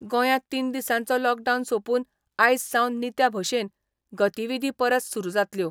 गोंयांत तीन दिसांचो लॉकडावन सोंपून आयज सावन नित्या भशेन गतीविधी परस सुरू जातल्यो.